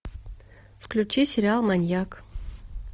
включи сериал маньяк